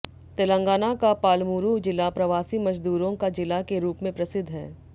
तेलंगाणा का पालमूरु जिला प्रवासी मजदूरों का जिला के रूप में प्रसिद्ध है